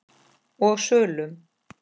og sölum.